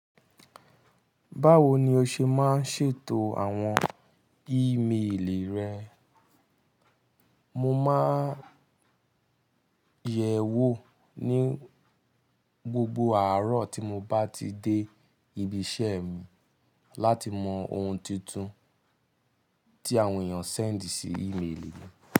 Báwo ni o ṣe máa ń ṣètò àwọn ímeèlì rẹ? Mo máa ń yẹ̀ ẹ́ wò ní gbogbo àárọ̀ tí mo bá ti dé ibi iṣẹ́ mi láti mọ ohun tuntun tí àwọn èèyàn send sí ímeèlì mi.